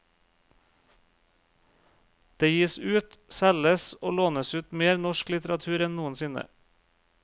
Det gis ut, selges og lånes ut mer norsk litteratur enn noensinne.